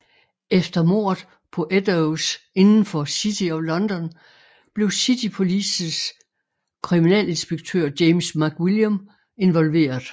Efter mordet på Eddowes inden for City of London blev City Polices kriminalinspektør James McWilliam involveret